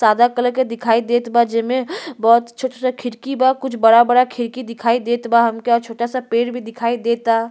सादा कलर के दिखाई देत बा जेमे बहोत छोटा-छोटा खिड़की बा। कुछ बड़ा-बड़ा खिड़की दिखाई देत बा हमके। अ छोटा सा पेड़ भी दिखई देता।